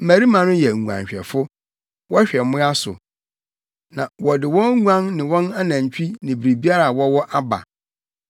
Mmarima no yɛ nguanhwɛfo. Wɔhwɛ mmoa so. Na wɔde wɔn nguan ne wɔn anantwi ne biribiara a wɔwɔ aba.’